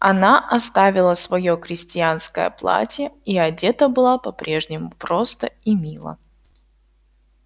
она оставила своё крестьянское платье и одета была по-прежнему просто и мило